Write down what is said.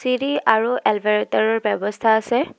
চিৰি আৰু এলভেৰেটৰৰ ব্যৱস্থা আছে।